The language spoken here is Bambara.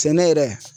Sɛnɛ yɛrɛ